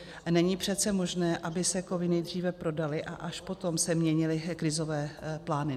Není přece možné, aby se kovy nejdříve prodaly, a až potom se měnily krizové plány.